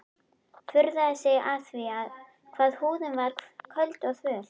Furðaði sig á því hvað húðin var köld og þvöl.